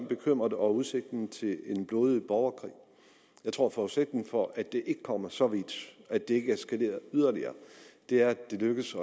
bekymrede over udsigten til en blodig borgerkrig jeg tror at forudsætningen for at det ikke kommer så vidt at det ikke eskalerer yderligere er at det lykkes